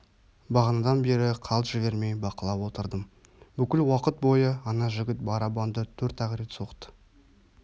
бағанадан бері қалт жібермей бақылап отырдым бүкіл уакыт бойы ана жігіт барабанды төрт-ақ рет соқты